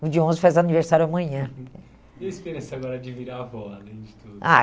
O de onze faz aniversário amanhã. Uhum, e a experiência agora de virar avó, além de tudo? Ah